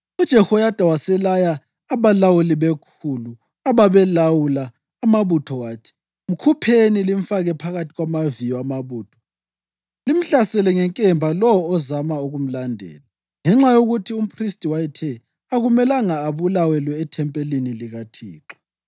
UJehoyada waselaya abalawuli bekhulu, ababelawula amabutho wathi: “Mkhupheni limfake phakathi kwamaviyo amabutho limhlasele ngenkemba lowo ozama ukumlandela.” Ngenxa yokuthi umphristi wayethe, “Akumelanga abulawelwe ethempelini likaThixo.”